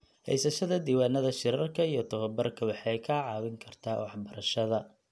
Haysashada diiwaannada shirarka iyo tababarka waxay kaa caawin kartaa waxbarashada.